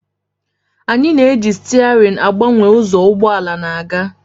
Anyị na-eji stiaarịn agbanwe ụzọ ụgbọ ala na-aga